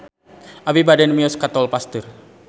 Abi bade mios ka Tol Pasteur